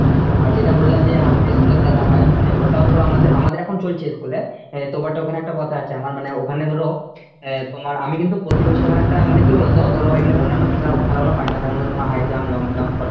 আর যেটা বললাম যে high school এর খেলাটা হয় মানে ওটাও ধরো আমাদের আমাদের এখন চলছে school এ তো এবারটো ওখানে একটা কথা আছে আমার মানে ওখানে ধরো আহ তোমার আমি কিন্তু প্রতি বছর ওখানে একটা মানে কি বলতো ধর এমনি অন্যান্য খেলা খেলাগুলো যেমন ধরো তোমার high jump long jump